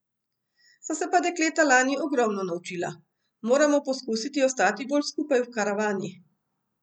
So se pa dekleta lani ogromno naučila: 'Moramo poskusiti ostati bolj skupaj v karavani.